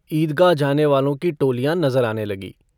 ईदगाह जाने वालों की टोलियाँ नज़र आने लगीं।